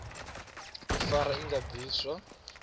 u fara i nga bviswa